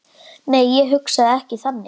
Nei, ég hugsa ekki þannig.